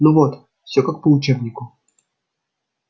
ну вот всё как по учебнику